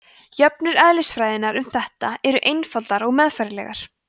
jöfnur eðlisfræðinnar um þetta eru einfaldar og meðfærilegar